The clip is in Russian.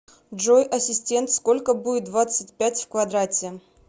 джой ассистент сколько будет двадцать пять в квадрате